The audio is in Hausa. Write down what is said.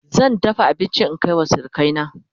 zan dafa abinci in Kai wa surukai na